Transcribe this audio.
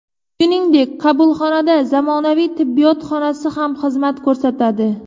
Shuningdek, qabulxonada zamonaviy tibbiyot xonasi ham xizmat ko‘rsatadi.